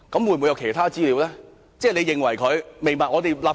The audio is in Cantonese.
會否有其他資料曾遭挪用呢？